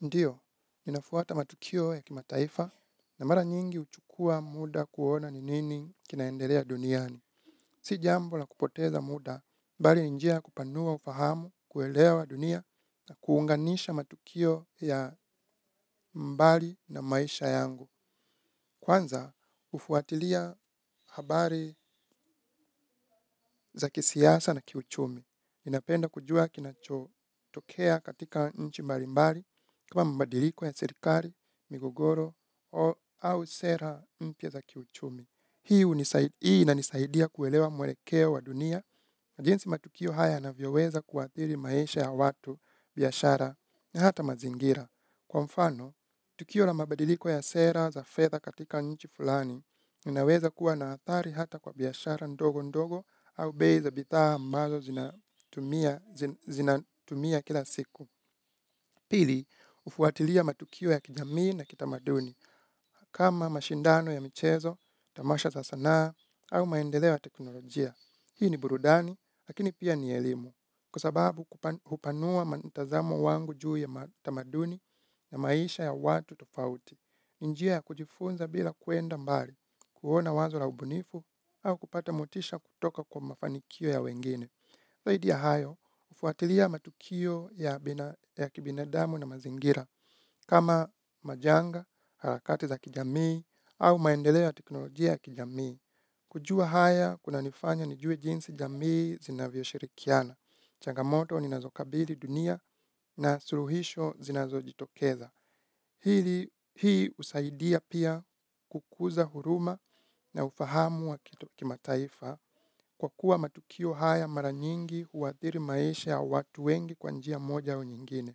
Ndiyo, ninafuata matukio ya kimataifa na mara nyingi huchukua muda kuona ni nini kinaendelea duniani. Si jambo la kupoteza muda, bali ni njia ya kupanua ufahamu, kuelewa dunia na kuunganisha matukio ya mbali na maisha yangu. Kwanza, hufuatilia habari za kisiasa na kiuchumi. Ninapenda kujua kinachotokea katika nchi mbalimbali kama mabadiliko ya serikali, migogoro au sera mpya za kiuchumi. Hii inanisaidia kuelewa mwelekeo wa dunia. Na jinsi matukio haya yanavyoweza kuathiri maisha ya watu, biashara, na hata mazingira. Kwa mfano, tukio la mabadiliko ya sera za fedha katika nchi fulani, inaweza kuwa na athari hata kwa biashara ndogo ndogo au bei za bidhaa ambazo zinatumia kila siku. Pili, hufuatilia matukio ya kijamii na kitamaduni. Kama mashindano ya michezo, tamasha za sanaa au maendeleo ya teknolojia. Hii ni burudani, lakini pia ni elimu. Kwa sababu kupanua mtazamo wangu juu ya tamaduni ya maisha ya watu tofauti. Njia ya kujifunza bila kwenda mbali, kuona wazo la ubunifu, au kupata motisha kutoka kwa mafanikio ya wengine. Zaidi ya hayo, ufuatilia matukio ya kibinadamu na mazingira, kama majanga, harakati za kijamii, au maendeleo ya teknolojia ya kijamii. Kujua haya, kunanifanya nijue jinsi jamii zinavyoshirikiana. Changamoto ninazokabili dunia na suluhisho zinazojitokeza. Hii husaidia pia kukuza huruma na ufahamu wa kimataifa kwa kuwa matukio haya mara nyingi huathiri maisha ya watu wengi kwa njia moja au nyingine.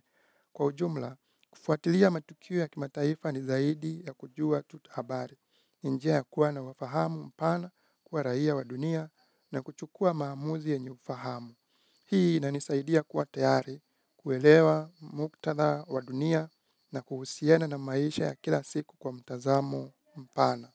Kwa ujumla, kufuatilia matukio ya kimataifa ni zaidi ya kujua tu habari. Njia ya kuwa nawafahamu mpana kwa raia wa dunia na kuchukua maamuzi yenye ufahamu. Hii inanisaidia kuwa tayari kuelewa muktadha wa dunia na kuhusiana na maisha ya kila siku kwa mtazamo mpana.